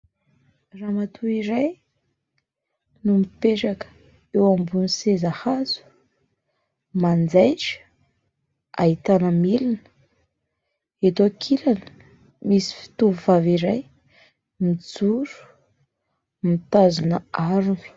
Ramatoa iray no mipetraka eo ambonin'ny seza hazo: manjaita, ahitana milina eto ankilany. Misy tovovavy iray mijoro mitazona harona.